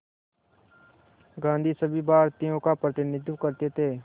गांधी सभी भारतीयों का प्रतिनिधित्व करते थे